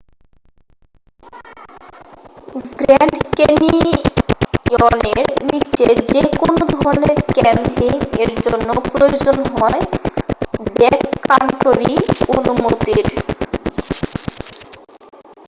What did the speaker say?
grand ক্যানিয়নের নিচে যেকোন ধরনের ক্যাম্পিং এর জন্য প্রয়োজন হয় ব্যাককান্টরি অনুমতির